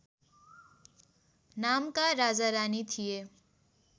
नामका राजारानी थिए